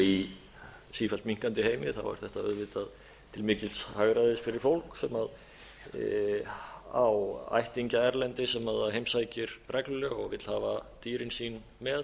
í sífellt minnkandi heimi er þetta auðvitað til mikils hagræðis fyrir fólk sem á ættingja erlendis sem það heimsækir reglulega og vill hafa dýrin sín með